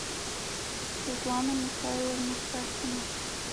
светлана михайловна сасина